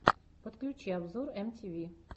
подключи обзор эм ти ви